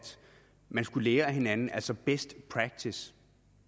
man skulle lære af hinanden altså bruge best practice